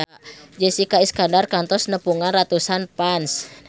Jessica Iskandar kantos nepungan ratusan fans